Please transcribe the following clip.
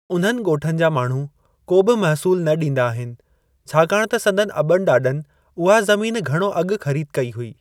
उन्हनि ॻोठनि जा माण्हू को बि महसूल न ॾींदा आहिनि छाकाणि त संदनि अबनि ॾाॾनि उहा ज़मीन घणो अॻु ख़रीद कई हुई।